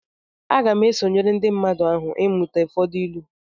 Aga m esonyere ndị mmadụ ahụ ịmụta ụfọdụ ịlu